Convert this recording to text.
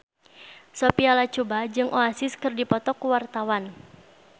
Sophia Latjuba jeung Oasis keur dipoto ku wartawan